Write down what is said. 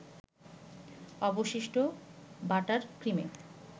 অবশিষ্ট বাটার ক্রিমে